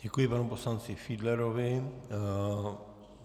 Děkuji panu poslanci Fiedlerovi.